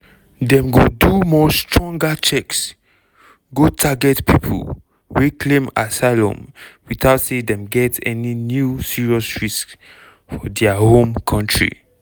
dem go do more stronger checks go target pipo wey claim asylum witout say dem get any new serious risks for dia home kontri.